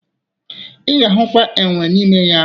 Ị ga-ahụkwa enwe n'ime ya